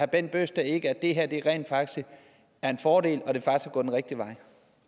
bent bøgsted ikke at det her rent faktisk er en fordel